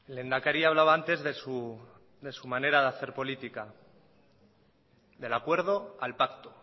el lehendakari hablaba antes de su manera de hacer política del acuerdo al pacto